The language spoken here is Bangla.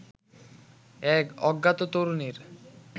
এক অজ্ঞাত তরুণীর